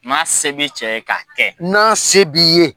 Maa se bi cɛ ye ka kɛ . N'a se b'i ye.